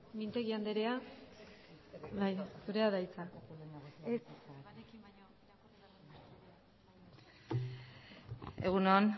mintegi andrea zurea da hitza egun on